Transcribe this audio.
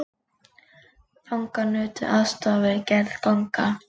Fangar nutu aðstoðar við gerð ganga